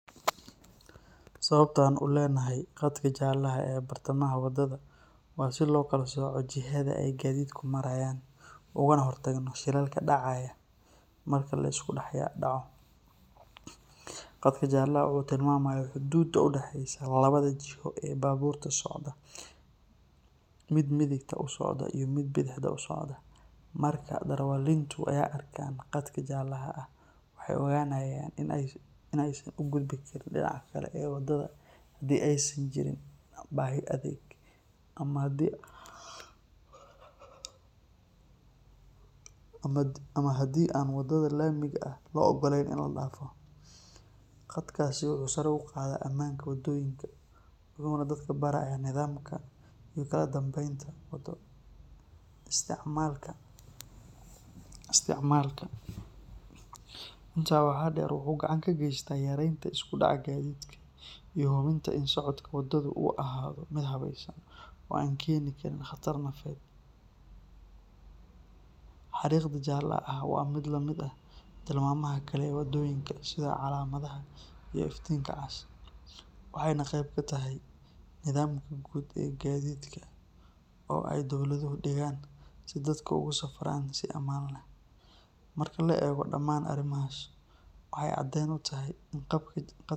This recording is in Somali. Sababta aan u leenahay qadka jaalaha ah ee bartamaha wadada waa si loo kala sooco jihada ay gaadiidku marayaan ugana hortagno shilalka dhacaya marka la isku dhex dhaco. Qadka jaalaha ah wuxuu tilmaamayaa xuduudda u dhaxaysa labada jiho ee baabuurta socda, mid midigta u socda iyo mid bidixda u socda. Marka darawaliintu ay arkaan qadka jaalaha ah waxay ogaanayaan in aysan u gudbi karin dhinaca kale ee wadada haddii aysan jirin baahi degdeg ah ama haddii aan waddada laamiga ah loo oggolayn in la dhaafo. Qadkaasi wuxuu sare u qaadaa ammaanka waddooyinka wuxuuna dadka barayaa nidaamka iyo kala dambaynta waddo isticmaalka. Intaa waxaa dheer, wuxuu gacan ka geystaa yareynta isku dhaca gaadiidka iyo hubinta in socodka waddadu uu ahaado mid habaysan oo aan keeni karin khatar nafeed. Xariiqda jaalaha ah waa mid la mid ah tilmaamaha kale ee waddooyinka sida calaamadaha iyo iftiinka cas, waxayna qayb ka tahay nidaamka guud ee gaadiidka oo ay dowladuhu dhigaan si dadku ugu safraan si ammaan ah. Marka la eego dhamaan arrimahaas, waxay caddeyn u tahay in qadka.